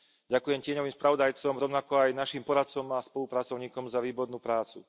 Ďakujem tieňovým spravodajcom, rovnako aj našim poradcom a spolupracovníkom za výbornú prácu.